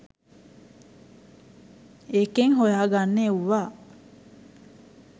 ඒකෙන් හොයාගන්න එව්වා